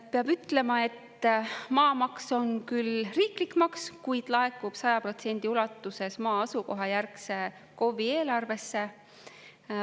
Peab ütlema, et maamaks on küll riiklik maks, kuid laekub 100% ulatuses maa asukohajärgse KOV-i eelarvesse.